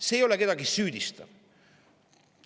See ei ole kellegi süüdistamine.